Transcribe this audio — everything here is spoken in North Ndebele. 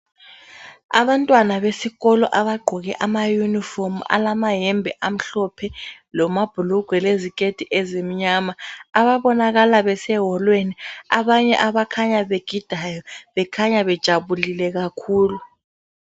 Abantwana besikolo abagqoke amayunifomu alamayembe amhlophe lamabhulugwe leziketi ezimnyama ababonakala beseholweni abanye abakhanya begidayo bekhanya bejabulile kakhulu.